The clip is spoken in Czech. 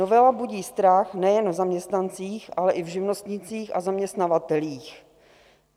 Novela budí strach nejen v zaměstnancích, ale i v živnostnících a zaměstnavatelích.